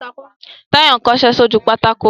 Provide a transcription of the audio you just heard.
Táyọ̀ ń kọṣẹ́ sójú pátákó